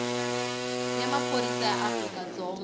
ya maphorisa ya afrika dzonga